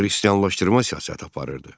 Xristianlaşdırma siyasəti aparırdı.